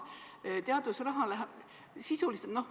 Teadusraha läheb sisuliselt muuks.